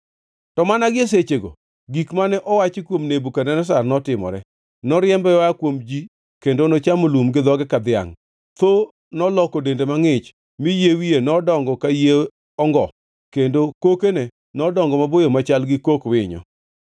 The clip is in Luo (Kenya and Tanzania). To mana gie sechego gik mane owachi kuom Nebukadneza notimore. Noriembe oa kuom ji kendo nochamo lum gi dhoge ka dhiangʼ. Tho noloko dende mangʼich mi yie wiye nodongo ka yie ongo kendo kokene nodongo maboyo machal gi kok winyo.